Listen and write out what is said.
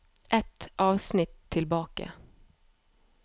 Ett avsnitt tilbake